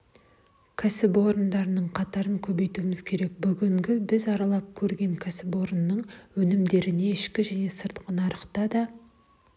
кәсіпорындардың қатарын көбейтуіміз керек бүгінгі біз аралап көрген кәсіпорынның өнімдеріне ішкі және сыртқы нарықтан да